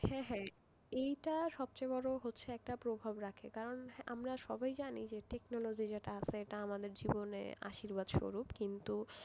হ্যাঁ হ্যাঁ এইটা সবচেয়ে বড় হচ্ছে একটা প্রভাব রাখে কারন আমরা সবাই জানি যে technology যেটা আছে এটা আমাদের জীবনে আশীর্বাদ স্বরূপ কিন্তু,